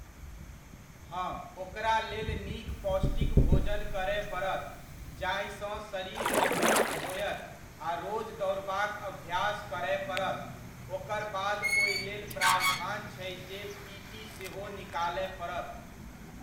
हँ ओकरा लेल नीक पौष्टिक भोजन करय पड़त, जाहिसँ शरीर मजबूत होयत आ रोज दौड़बाक अभ्यास करय पड़त, ओकर बाद ओहि लेल प्रावधान छै जे पी टी सेहो निकालय पड़त।